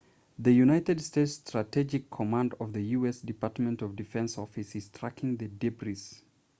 the united states strategic command of the u.s. department of defense office is tracking the debris